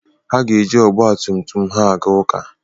Ha ga-eji ọgba tum tum ha aga ụka.